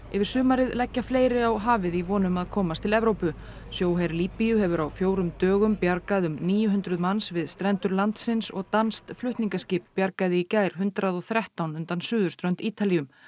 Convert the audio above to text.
yfir sumarið leggja fleiri á hafið í von um að komast til Evrópu sjóher Líbíu hefur á fjórum dögum bjargað um níu hundruð manns við strendur landsins og danskt flutningaskip bjargaði í gær hundrað og þrettán undan suðurströnd Ítalíu